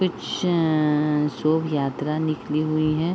कुछ अ अ अ शोभ यात्रा निकली हुई हैं।